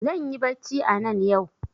Zanyi bacci anan yau